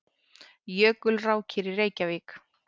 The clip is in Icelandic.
Jökulrákir í Reykjavík.